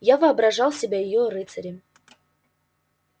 я воображал себя её рыцарем